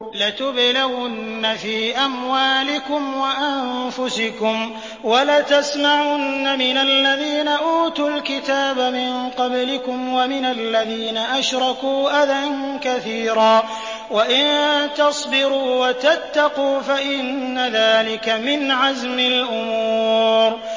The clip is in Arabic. ۞ لَتُبْلَوُنَّ فِي أَمْوَالِكُمْ وَأَنفُسِكُمْ وَلَتَسْمَعُنَّ مِنَ الَّذِينَ أُوتُوا الْكِتَابَ مِن قَبْلِكُمْ وَمِنَ الَّذِينَ أَشْرَكُوا أَذًى كَثِيرًا ۚ وَإِن تَصْبِرُوا وَتَتَّقُوا فَإِنَّ ذَٰلِكَ مِنْ عَزْمِ الْأُمُورِ